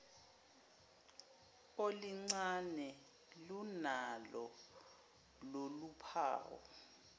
olincane lunalo loluphawu